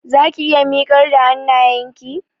Zaki iya miƙar da hannayenki?